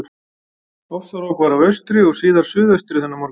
Ofsarok var af austri og síðar suðaustri þennan morgun.